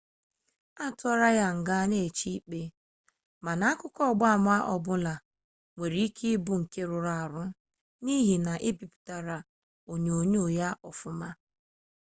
atụrụ ya nga ma na-eche ikpe mana akụkọ ọgba ama ọbụla nwere ike ịbụ nke rụrụ arụ n'ihi na ebipụtara onyonyo ya ọfụma